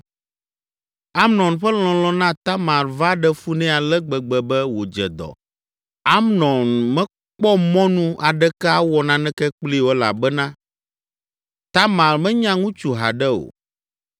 Amnon ƒe lɔlɔ̃ na Tamar va ɖe fu nɛ ale gbegbe be wòdze dɔ. Amnon mekpɔ mɔnu aɖeke awɔ naneke kplii o, elabena Tamar menya ŋutsu haɖe o.